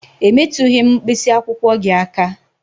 E metụghị m mkpịsị akwụkwọ gị aka